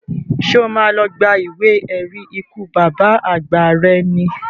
Ṣé o má lọ gba ìwé ẹ̀rí ikú bàbá àgbà rẹ ni?